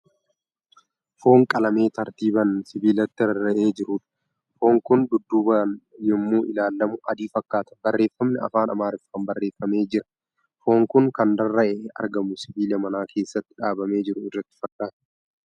Foon qalamee tartiibaan sibiilatti rarra'ee jirudha. Foon kun dudduubaan yommuu ilaalamu adii fakkaata. Barreeffamni afaan Amaariffaan barreeffamee jira. Foon kun kan rarra'ee argamu sibiila mana keessatti dhaabamee jiru irratti fakkaata.